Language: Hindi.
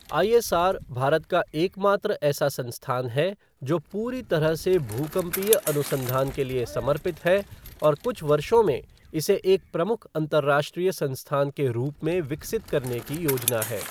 आई.एस.आर. भारत का एकमात्र ऐसा संस्थान है जो पूरी तरह से भूकंपीय अनुसंधान के लिए समर्पित है और कुछ वर्षों में इसे एक प्रमुख अंतरराष्ट्रीय संस्थान के रूप में विकसित करने की योजना है।